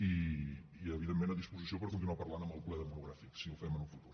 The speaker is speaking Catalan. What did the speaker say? i evidentment a disposició per continuar parlant en el ple monogràfic si el fem en el futur